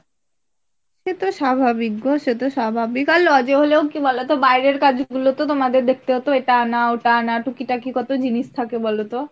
সে তো স্বাভাবিক গো সেতো স্বাভাবিক আর lodge এ হলেও কি বলতো বাইরের কাজ গুলো তো তোমাদের দেখতে হত এটাআনা ওটা আনা কত টুকি টাকি কত জিনিস থাকে বলতো